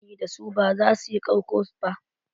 Ƙarafunan da akayi ginin dasu ba za su yi ƙarƙo ba.